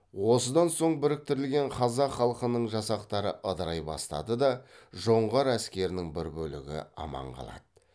осыдан соң біріктірілген қазақ халқының жасақтары ыдырай бастады да жоңғар әскерінің бір бөлігі аман қалады